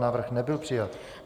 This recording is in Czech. Návrh nebyl přijat.